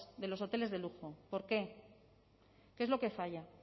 de los hoteles de lujo por qué qué es lo que falla